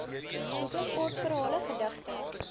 boeke kortverhale gedigte